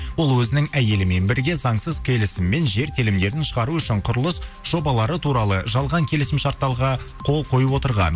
ол өзінің әйелімен бірге заңсыз келісіммен жер телімдерін шығару үшін құрылыс жобалары туралы жалған келісімшарттарға қол қойып отырған